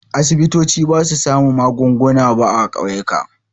Asibitoci ba su sami magunguna ba a ƙauyuka.